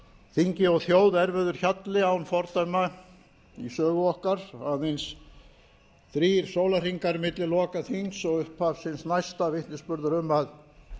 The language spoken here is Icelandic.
þingi og þjóð erfiður hjalli án fordæma í sögu okkar aðeins þrír sólarhringar milli loka þings og upphafs hins næsta vitnisburður um að